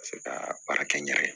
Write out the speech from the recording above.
Ka se ka baara kɛ n yɛrɛ ye